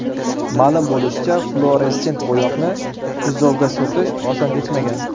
Ma’lum bo‘lishicha, fluoressent bo‘yoqni kuzovga surtish oson kechmagan.